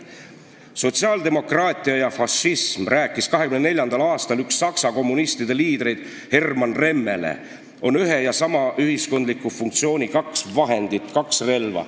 /---/ "Sotsiaaldemokraatia ja fašism," rääkis 1924. aastal üks Saksa kommunistide liidreid Hermann Remmele, "on ühe ja sama ühiskondliku funktsiooni kaks vahendit, kaks relva.